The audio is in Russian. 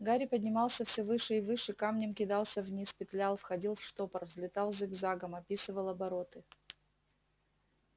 гарри поднимался все выше и выше камнем кидался вниз петлял входил в штопор взлетал зигзагом описывал обороты